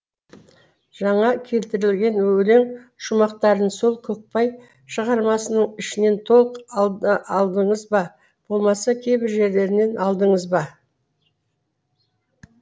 жаңа келтірілген өлең шумақтарын сол көкпай шығармасының ішінен толық алдыңыз ба болмаса кейбір жерлерінен алдыңыз ба